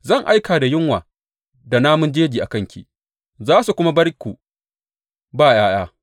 Zan aika da yunwa da namun jeji a kanki, za su kuma bar ku ba ’ya’ya.